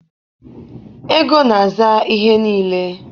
ego na-aza ihe niile